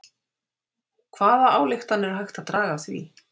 Hvaða ályktanir er hægt að draga af því?